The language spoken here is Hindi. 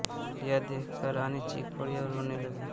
यह देखकर रानी चीख पड़ी और रोने लगी